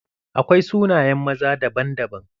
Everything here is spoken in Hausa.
Akwai sunayen maza daban-daban.